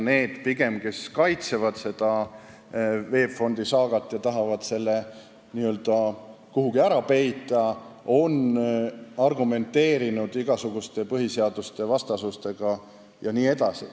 Need, kes kaitsevad VEB Fondiga toimunut ja tahavad selle nagu kuhugi ära peita, on argumenteerinud igasuguste põhiseadusvastasustega jne.